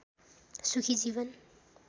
सुखी जीवन